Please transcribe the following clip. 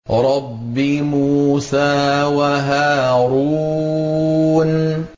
رَبِّ مُوسَىٰ وَهَارُونَ